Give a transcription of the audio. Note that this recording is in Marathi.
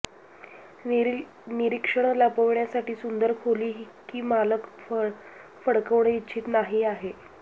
निरीक्षण लपविण्यासाठी सुंदर खोली की मालक फडकवणे इच्छित नाही आहे